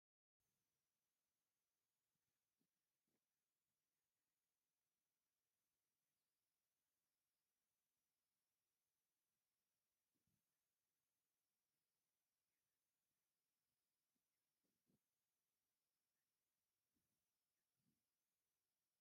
ጥርሙዝ ቢራ ቅዱስ ጊዮርጊስ ኣብ መደርደሪ ድኳን ተቐሚጡ ኣሎ። እቲ ቢራ ኣብ ጸሊም ቡናዊ ብርጭቆ ጥርሙዝ ኮይኑ ብጫ ጽሑፍ ብኣምሓርኛ እዩ። እዚ ቢራንምንታይ እዩ ብቅዱስ ጊዮርግስ ተሰይሙ መቐለዲ ድዮም ጌሮሞ?